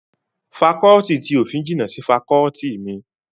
Fakọọti ti òfin jìnnà sí fakọọti mi